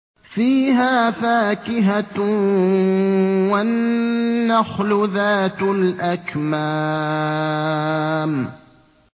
فِيهَا فَاكِهَةٌ وَالنَّخْلُ ذَاتُ الْأَكْمَامِ